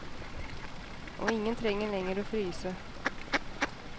Og ingen trenger lenger å fryse.